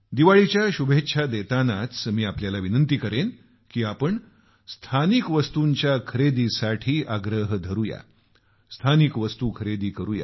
दीपावलीच्या शुभकामना देतानाच मी आपल्याला आग्रह करेन की या आपण स्थानिक वस्तूंच्या खरेदीसाठी आग्रही होऊ या स्थानिक वस्तू खरेदी करू